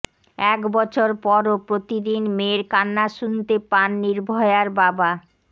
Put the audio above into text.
এক বছর পরও প্রতিদিন মেয়ের কান্না শুনতে পান নির্ভয়ার বাবা